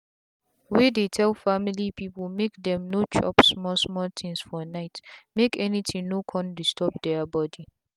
wey dey tell family people make them no dey chop small small things for nightmake anything no con disturb their body.